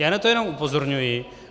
Já na to jenom upozorňuji.